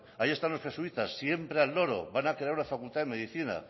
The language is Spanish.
ahí están los jesuitas siempre al loro van a crear una facultad de medicina